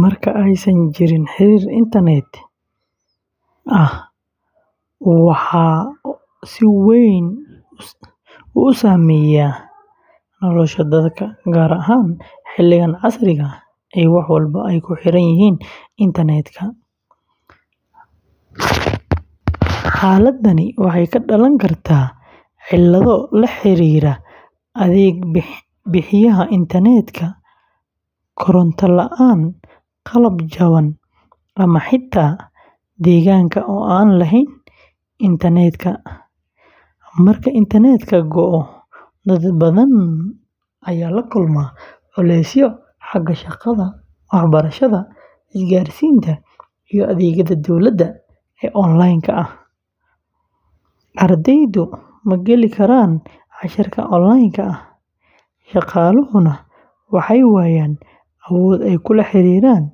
Marka aysan jirin xiriir internet-ka, waxaa si weyn u saameeyma nolosha dadka, gaar ahaan xilligan casriga ah ee wax walba ay ku xiranyihiin internet-ka. Xaaladda waxay ka dhalan kartaa cilado la xiriira adeeg bixiyaha internet-ka, koronto la’aan, qalab jaban, ama xitaa deegaanka oo aan lahayn helitaan internet. Marka internet-ka go'o, dad badan ayaa la kulma culeysyo xagga shaqada, waxbarashada, isgaarsiinta, iyo adeegyada dowladda ee online-ka ah. Ardaydu ma geli karaan casharrada online-ka ah, shaqaaluhuna waxay waayaan awood ay kula xiriiraan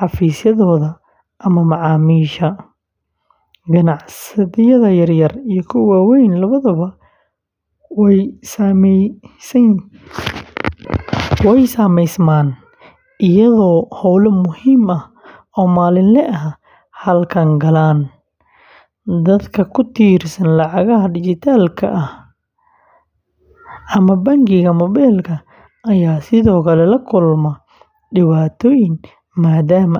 xafiisyadooda ama macaamiisha. Ganacsiyada yaryar iyo kuwa waaweyn labadaba way saameysmaan, iyadoo howlo muhiim ah oo maalinle ah hakad galaan. Dadka ku tiirsan lacagaha dhijitaalka ah ama bangiyada mobilka ayaa sidoo kale la kulma dhibaatooyin maadaama aysan awoodin.